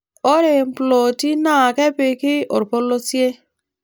Ore mploti naa kepiki orpolosie.